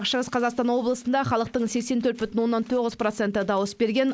шығыс қазақстан облысында халықтың сексен төрт бүтін оннан тоғыз проценті дауыс берген